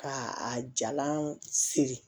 Ka a jalan siri